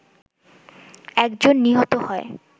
একজন নিহত হয়